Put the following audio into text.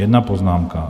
Jedna poznámka.